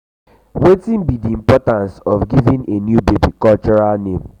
wetin be di importance of giving a new baby cultural name?